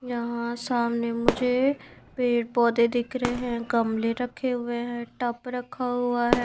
यहाँ सामने मुझे पेड़ पौधे दिख रहे हैं गमले रखे हुए हैं टप रखा हुआ है।